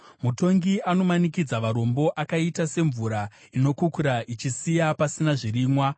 Mutongi anomanikidza varombo akaita semvura inokukura ichisiya pasina zvirimwa.